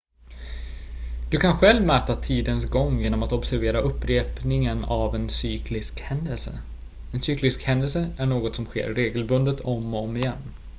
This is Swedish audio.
du kan själv mäta tidens gång genom att observera upprepningen av en cyklisk händelse en cyklisk händelse är något som sker regelbundet om och om igen